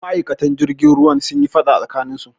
Ma'aikata jirgin ruwan sunyi faɗa a tsakaninsu